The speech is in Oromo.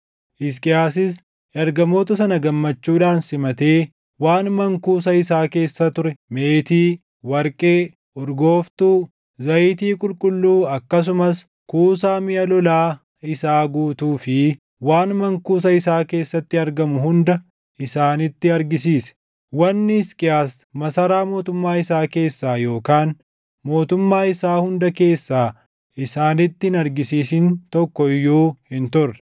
Hisqiyaasis ergamoota sana gammachuudhaan simatee waan mankuusa isaa keessa ture meetii, warqee, urgooftuu, zayitii qulqulluu akkasumas kuusaa miʼa lolaa isaa guutuu fi waan mankuusa isaa keessatti argamu hunda isaanitti argisiise. Wanni Hisqiyaas masaraa mootummaa isaa keessaa yookaan mootummaa isaa hunda keessaa isaanitti hin argisiisin tokko iyyuu hin turre.